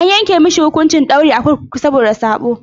An yanke masa hukuncin daurin a kurkuku saboda sabo.